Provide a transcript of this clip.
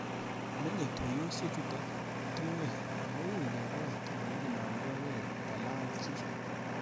Menyei tuiyosie chutok tungwek ako uui kebwat oleinomdoigei kolal chi